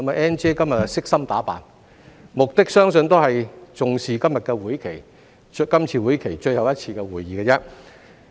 "Ann 姐"今天悉心打扮，相信是因為重視今次會期的最後一次會議。